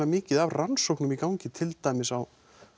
mikið af rannsóknum í gangi til dæmis á